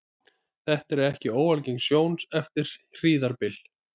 Þetta er ekki óalgeng sjón eftir hríðarbyl.